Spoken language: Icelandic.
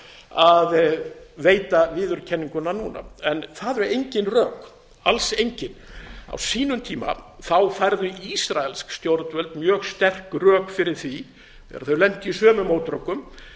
að veita viðurkenninguna núna það eru engin rök alls engin á sínum tíma færðu ísraelsk stjórnvöld dag sterk rök fyrir því þegar þau lentu í sömu mótrökum